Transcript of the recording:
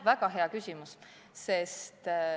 Väga hea küsimus.